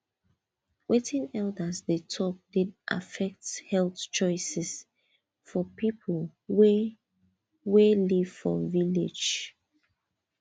wetin elders dey talk dey affect health choices for people wey wey live for village